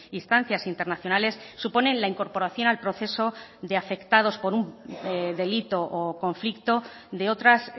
instancias internacionales suponen la incorporación al proceso de afectados por un delito o conflicto de otras